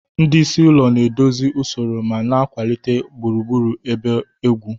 Ndị isi ụlọ na-edozi usoro ma na-akwalite gburugburu ebe ugwu.